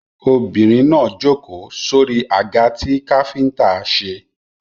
Obìnrin náà jókòó sórí àga tí káfíńtà ṣe